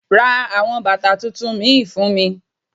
Ra àwọn bàtà tuntun mìí fún mi.